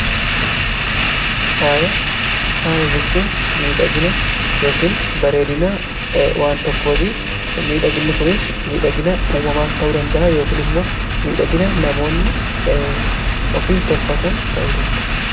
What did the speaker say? Faaya jechuun miidhagina yookiin bareedina waan tokkooti miidhaginni kunis miidhagina uumamaas ta'uu danda'a yookin immoo miidhagina namoonni ofiin tolfatan ta'u danda'a.